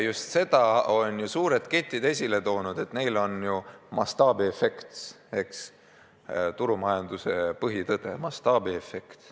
Just seda ongi suured ketid esile toonud, et neil on ju mastaabiefekt, turumajanduse põhitõde – mastaabiefekt.